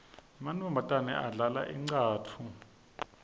emantfombatane adlala incatfu